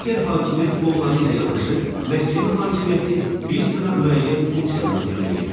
Digər hakimiyyət qolları ilə yanaşı, məhkəmə hakimiyyəti bir sıra müəyyən funksiyalar yerinə yetirir.